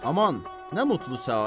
Aman, nə mutlu səadət!